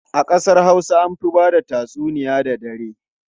A kasar Hausa an fi ba da tatsuniya da dare.